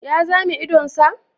Ya zame idon sa?